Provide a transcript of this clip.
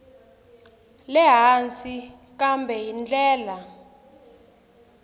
le hansi kambe hi ndlela